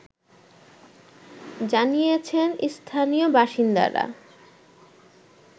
জানিয়েছেন স্থানীয় বাসিন্দারা